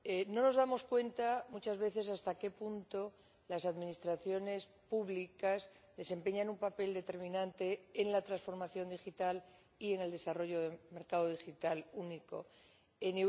No nos damos cuenta muchas veces de hasta qué punto las administraciones públicas desempeñan un papel determinante en la transformación digital y en el desarrollo del mercado único digital.